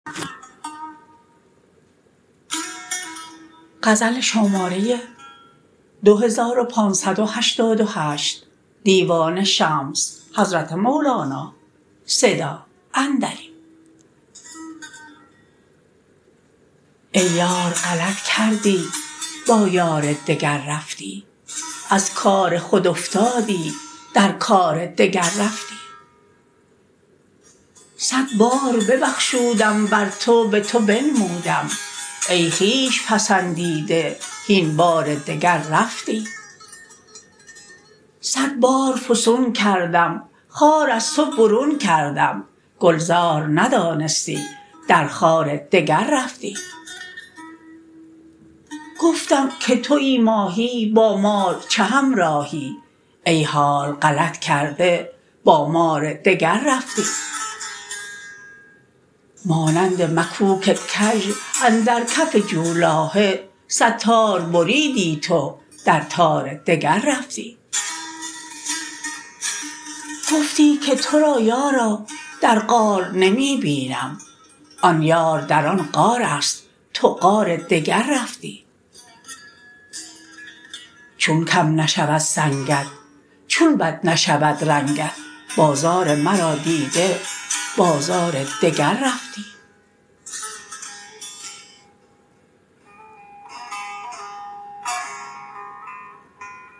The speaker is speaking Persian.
ای یار غلط کردی با یار دگر رفتی از کار خود افتادی در کار دگر رفتی صد بار ببخشودم بر تو به تو بنمودم ای خویش پسندیده هین بار دگر رفتی صد بار فسون کردم خار از تو برون کردم گلزار ندانستی در خار دگر رفتی گفتم که توی ماهی با مار چه همراهی ای حال غلط کرده با مار دگر رفتی مانند مکوک کژ اندر کف جولاهه صد تار بریدی تو در تار دگر رفتی گفتی که تو را یارا در غار نمی بینم آن یار در آن غار است تو غار دگر رفتی چون کم نشود سنگت چون بد نشود رنگت بازار مرا دیده بازار دگر رفتی